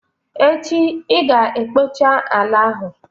Echi i ga-ekpocha ala ahụ!